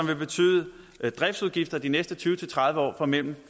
vil betyde driftsudgifter i de næste tyve til tredive år på mellem